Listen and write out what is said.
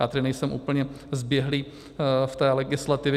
Já tedy nejsem úplně zběhlý v té legislativě.